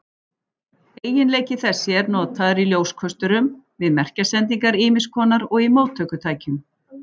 Eiginleiki þessi er notaður í ljóskösturum, við merkjasendingar ýmiss konar og í móttökutækjum.